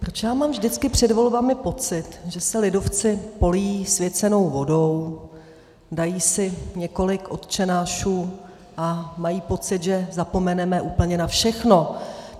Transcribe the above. Proč já mám vždycky před volbami pocit, že se lidovci polijí svěcenou vodou, dají si několik otčenášů a mají pocit, že zapomeneme úplně na všechno.